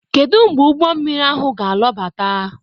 Kedu mgbe ụgbọ mmiri ahụ ga-alọbata?